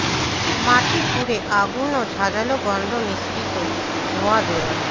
মাটি ফুঁড়ে আগুন ও ঝাঁঝালো গন্ধ মিশ্রিত ধোঁয়া বেরোয়